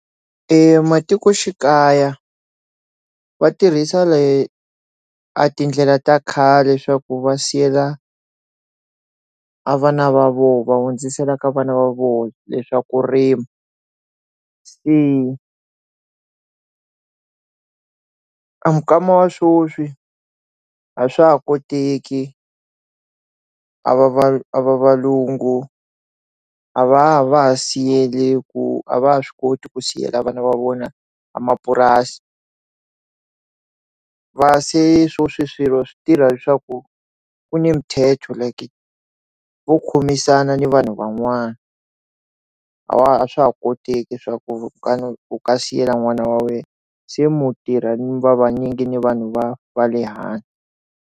Ematikoxikaya va tirhisa a tindlela ta khale leswaku va siyela a vana va voho va hundzisela ka vana va vona leswa kurima se a mikama wa swoswi a swa ha koteki a va valungu a va a va ha siyile ku a va ha swi koti ku siyela vana va vona a mapurasi va se swi swilo swi tirha leswaku ku ne mithetho like vo khomisana ni vanhu va n'wana a swa ha koteki swa ku u nga siyela n'wana wa wena se mu tirha ni Va vanyingi ni vanhu va va le hansi.